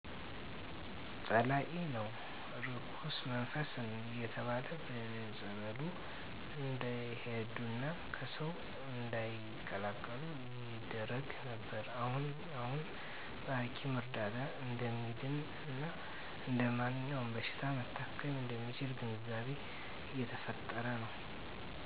ጸላኢ ነው እርኩስመንፈስ እየተባለ በየፀበሉ እንዲሄዱና ከሰው እንዳይቀላቀሉ ይደረግ ነበር አሁን አሁን በሀኪም እርዳታ እደሚድን እና እደማንኛውም በሺታ መታከም እደሚችል ግንዛቤ እየተፈጠረ ነው